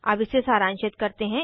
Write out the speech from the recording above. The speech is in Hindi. अब इसे सारांशित करते हैं